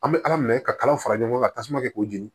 An bɛ ala minɛ ka kalan fara ɲɔgɔn kan tasuma kɛ k'o jeni